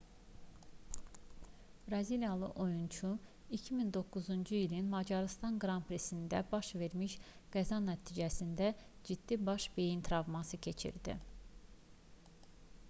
braziliyalı oyunçu 2009-cu ilin macarıstan qran-prisində baş vermiş qəza nəticəsində ciddi baş beyin travması keçirdi